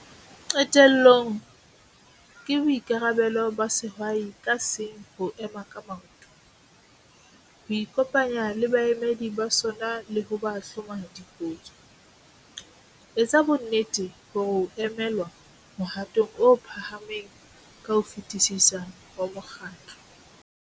Qetellong, ke boikarabelo ba sehwai ka seng ho ema ka maoto, ho ikopanya le baemedi ba sona le ho ba hloma dipotso. Etsa bonnete hore o emelwa mohatong o phahameng ka ho fetisisa wa mokgatlo.